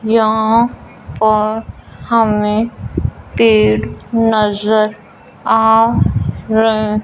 यहां पर हमें गेट नजर आ रहे--